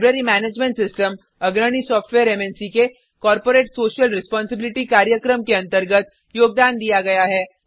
library management system अग्रणी software मन्क के कॉर्पोरेट सोशल रेस्पोंसिबिलिटी कार्यक्रम के अंतर्गत योगदान दिया गया है